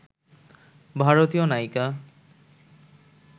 ভারতীয় নায়িকা